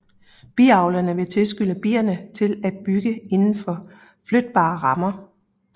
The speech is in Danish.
Biavleren vil tilskynde bierne til at bygge indenfor flytbare rammer